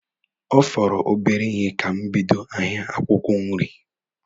Ọ fọrọ obere ihe ka m bido ahịa akwụkwọ nri.